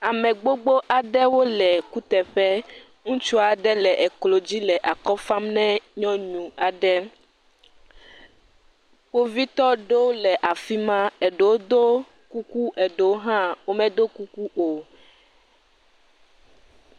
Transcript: amɛ gbogbó aɖewo le kuteƒe ŋutsuaɖe le eklo dzi le akɔfam nɛ nyɔnu aɖe kpovitɔ ɖowo le afima eɖewo dó kuku eɖewo hã wome dó kuku o